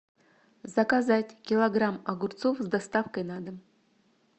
заказать килограмм огурцов с доставкой на дом